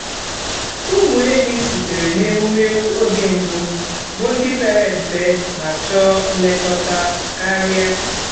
ụmụ ehi sitere n’ewumewụ oge mbụ bụ ndị pere mpe ma chọọ nlekọta karia